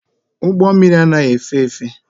Ụgbọ mmịrị anaghị efe efe.